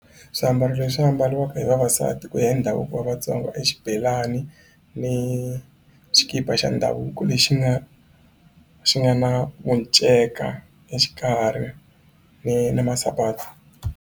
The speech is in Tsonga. Swiambalo leswi ambariwaka hi vavasati ku ya hi ndhavuko wa Vatsonga i xibelani ni xikipa xa ndhavuko lexi nga xi nga na minceka exikarhi ni ni masapati.